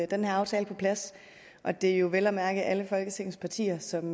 den her aftale på plads og det er jo vel at mærke alle folketingets partier som